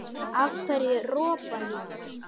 Af hverju ropar maður?